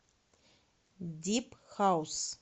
дип хаус